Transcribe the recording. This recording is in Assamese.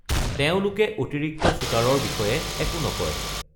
তেওঁলোকে অতিৰিক্ত শ্বুটাৰৰ বিষয়ে একো নকয়।